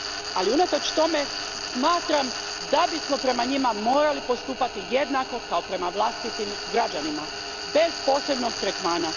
Ali, unatoč tome smatram da bismo prema njima morali postupati jednako kao prema vlastitim građanima, bez posebnog tretmana.